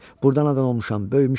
Burda anadan olmuşam, böyümüşəm.